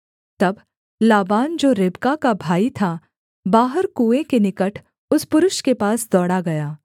तब लाबान जो रिबका का भाई था बाहर कुएँ के निकट उस पुरुष के पास दौड़ा गया